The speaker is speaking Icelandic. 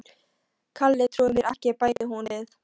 Kalli trúir mér ekki bætti hún við.